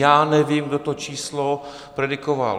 Já nevím, kdo to číslo predikoval.